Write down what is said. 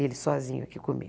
Ele sozinho aqui comigo.